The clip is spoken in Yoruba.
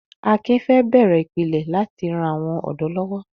Akin fẹ́ bẹ̀rẹ̀ ìpìlẹ̀ láti ran àwọn ọ̀dọ́ lọ́wọ́.